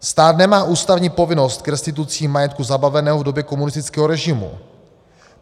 Stát nemá ústavní povinnost k restitucím majetku zabaveného v době komunistického režimu.